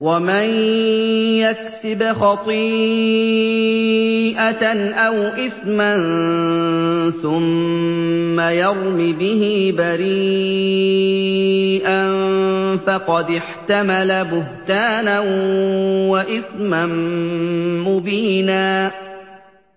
وَمَن يَكْسِبْ خَطِيئَةً أَوْ إِثْمًا ثُمَّ يَرْمِ بِهِ بَرِيئًا فَقَدِ احْتَمَلَ بُهْتَانًا وَإِثْمًا مُّبِينًا